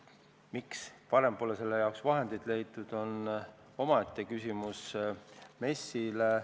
Miks varem pole selle jaoks vahendeid leitud, on omaette küsimus MES-ile.